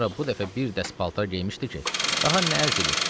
Tamara bu dəfə bir dəst paltar geyinmişdi ki, daha nə ərz eləyim.